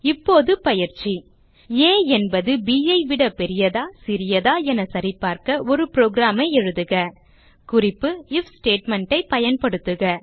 இப்போது பயிற்சி ஆ என்பது ப் ஐ விட பெரியதா சிறியதா என சரிபார்க்க ஒரு புரோகிராம் எழுதுக குறிப்பு ஐஎஃப் ஸ்டேட்மெண்ட் ஐ பயன்படுத்துக